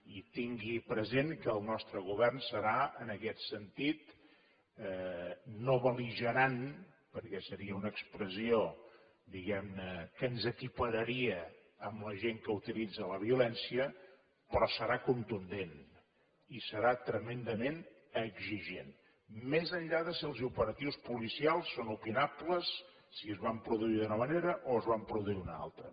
i tingui present que el nostre govern serà en aquest sentit no bel·ligerant perquè seria una expressió diguem ne que ens equipararia amb la gent que utilitza la violència però serà contundent i serà tremendament exigent més enllà de si els operatius policials són opinables si es van produir d’una manera o es van produir d’una altra